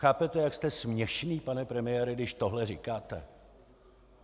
Chápete, jak jste směšný, pane premiére, když tohle říkáte?